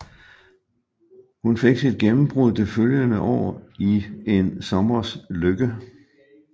Hun fik sit gennembrud det følgende år i En sommers lykke